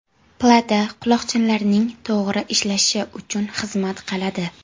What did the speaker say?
Plata quloqchinlarning to‘g‘ri ishlashi uchun xizmat qiladi.